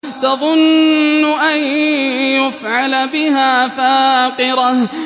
تَظُنُّ أَن يُفْعَلَ بِهَا فَاقِرَةٌ